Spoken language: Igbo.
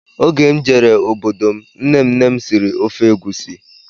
Oge m jere obodo m nnenne m siri ofe egwusi